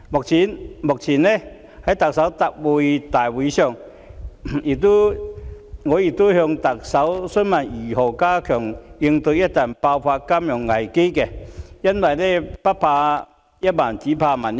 早前，在行政長官答問會上，我曾詢問特首如何加強應對一旦爆發的金融危機，因為不怕一萬，只怕萬一。